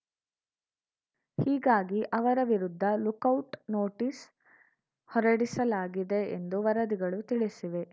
ಹೀಗಾಗಿ ಅವರ ವಿರುದ್ಧ ಲುಕೌಟ್‌ ನೋಟಿಸ್‌ ಹೊರಡಿಸಲಾಗಿದೆ ಎಂದು ವರದಿಗಳು ತಿಳಿಸಿವೆ